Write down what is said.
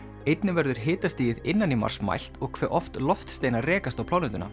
einnig verður hitastigið innan í Mars mælt og hve oft loftsteinar rekast á plánetuna